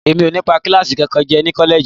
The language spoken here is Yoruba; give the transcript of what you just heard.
N ò ní pa kíláàsì kankan jẹ́ ní kọ́lẹ́ẹ̀jì